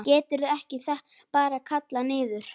Geturðu ekki bara kallað niður?